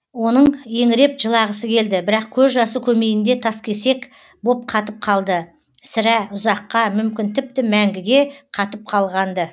оның еңіреп жылағысы келді бірақ көз жасы көмейінде таскесек боп қатып қалды сірә ұзаққа мүмкін тіпті мәңгіге қатып қалған ды